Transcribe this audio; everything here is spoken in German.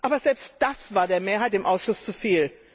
Aber selbst das war der Mehrheit im Ausschuss zu viel.